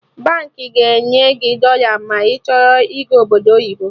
Baankị ga-enye gị dọla ma ị chọrọ ịga Obodo oyibo